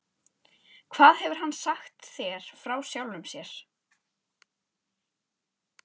Hvað hefur hann sagt þér frá sjálfum sér?